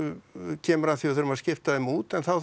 kemur að því að við þurfum að skipta þeim út en þá þarf